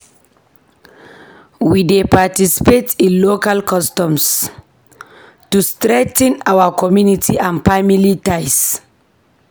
We dey participate in local customs to strengthen our community and family ties.